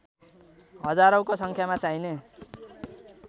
हजारौँको सङ्ख्यामा चाहिने